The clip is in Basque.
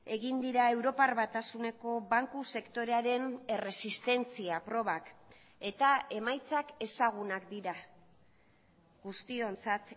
egin dira europar batasuneko banku sektorearen erresistentzia probak eta emaitzak ezagunak dira guztiontzat